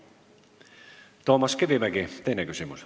Toomas Kivimägi, teine küsimus.